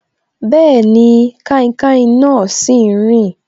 Bẹẹni, kainkain náà sì ń rin